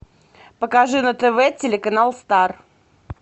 покажи на тв телеканал стар